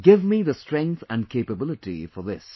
Give me strength and capability for this